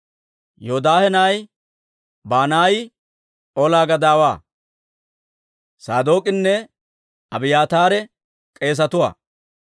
Yoodaahe na'ay Banaayi olaa gadaawaa; Saadook'inne Abiyaataare k'eesetuwaa;